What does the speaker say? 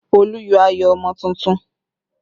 Olu yọ ayọ̀ ọmọ tuntun